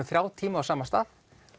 þrjá tíma á sama stað